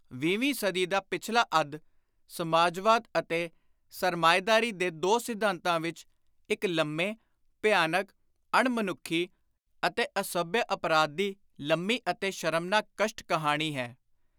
ਵੀਹਵੀਂ ਸਦੀ ਦਾ ਪਿਛਲਾ ਅੱਧ ਸਮਾਜਵਾਦ ਅਤੇ ਸਰਮਾਏਦਾਰੀ ਦੇ ਦੋ ਸਿਧਾਂਤਾਂ ਵਿਚ ਇਕ ਲੰਮੇ, ਭਿਆਨਕ, ਅਣ-ਮਨੁੱਖੀ ਅਤੇ ਅਸੱਭਿਅ ਅਪਰਾਧ ਦੀ ਲੰਮੀ ਅਤੇ ਸ਼ਰਮਨਾਕ ਕਸ਼ਟ-ਕਹਾਣੀ ਹੈ।